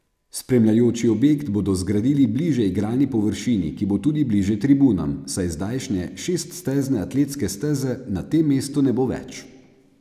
Spremljajoči objekt bodo zgradili bliže igralni površini, ki bo tudi bliže tribunam, saj zdajšnje šeststezne atletske steze na tem mestu ne bo več.